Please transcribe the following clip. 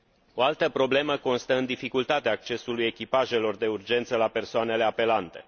O altă problemă constă în dificultatea accesului echipajelor de urgență la persoanele apelante.